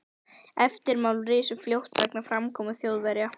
Eftirmál risu fljótt vegna framkomu Þjóðverja.